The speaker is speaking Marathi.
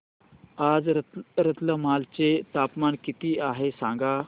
आज रतलाम चे तापमान किती आहे सांगा